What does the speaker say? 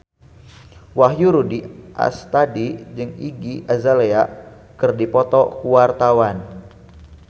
Wahyu Rudi Astadi jeung Iggy Azalea keur dipoto ku wartawan